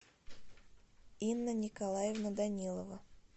инна николаевна данилова